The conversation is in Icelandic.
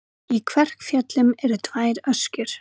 Í Kverkfjöllum eru tvær öskjur.